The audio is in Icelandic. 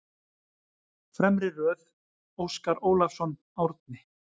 Fremri röð: Óskar Ólafsson, Árni